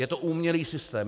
Je to umělý systém.